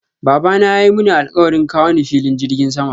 Babana yayi Muni alkawarin kawo ni filin jirgin sama.